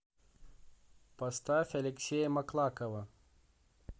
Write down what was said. поставь алексея маклакова